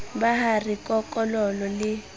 ba ha re kokololo le